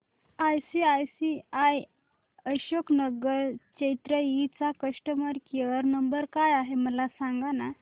ICICI Ashok Nagar Chennai चा customer care number काय आहे मला सांगाना